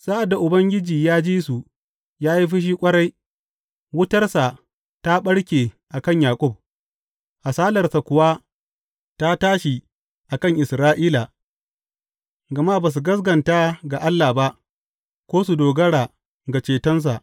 Sa’ad da Ubangiji ya ji su, ya yi fushi ƙwarai; wutarsa ta ɓarke a kan Yaƙub, hasalarsa kuwa ta tashi a kan Isra’ila, gama ba su gaskata ga Allah ba ko su dogara ga cetonsa.